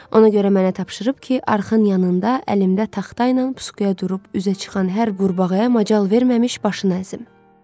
Ona görə mənə tapşırıb ki, arxın yanında əlimdə taxta ilə puskuya durub üzə çıxan hər qurbağaya macal verməmiş başını əzim.